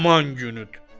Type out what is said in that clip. Aman günüdür.